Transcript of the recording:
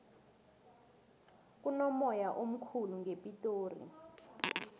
kunomoya omkhulu ngepitori